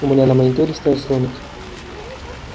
у меня на мониторе стоят слоники